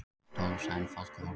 Tólf sæmd fálkaorðu